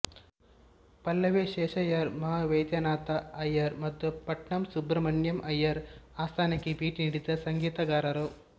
ಪಲ್ಲವಿ ಶೇಷಯ್ಯರ್ ಮಹಾ ವೈದ್ಯನಾಥ ಅಯ್ಯರ್ ಮತ್ತು ಪಟ್ನಂ ಸುಬ್ರಮಣ್ಯಂ ಅಯ್ಯರ್ ಆಸ್ಥಾನಕ್ಕೆ ಭೇಟಿ ನೀಡಿದ ಸಂಗೀತಗಾರರು